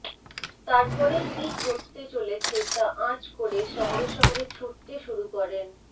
তারপরেই কী ঘটতে চলেছে তা আঁচ করে সঙ্গে সঙ্গে ছুটতে শুরু করেন